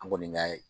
An kɔni ka